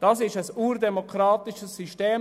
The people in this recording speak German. Das ist ein urdemokratisches System.